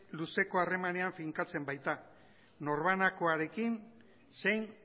luzeko harremanean finkatzen baita norbanakoarekin zein